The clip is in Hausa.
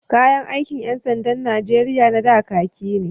Kayan aikin ƴan sandan Nijeriya na da, kaki ne.